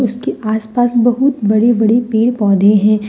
इसके आस पास बहुत बड़े बड़े पेड़ पौधे हैं।